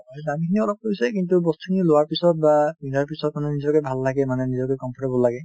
এই দামখিনি অলপ গৈছে কিন্তু বস্তুখিনি লোৱাৰ পিছত বা পিন্ধাৰ পিছত মানে নিজকে ভাল লাগে মানে নিজকে comfortable লাগে